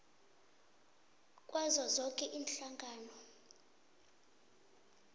kwazo zoke iinhlangano